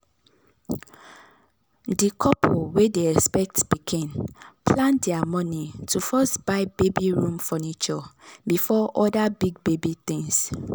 di couple wey dey expect pikin plan their money to first buy baby room furniture before other big baby things.